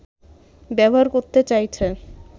ব্যবহার করতে চাইছে